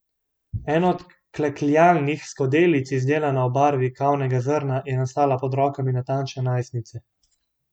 Ena od klekljanih skodelic, izdelana v barvi kavnega zrna, je nastala pod rokami natančne najstnice.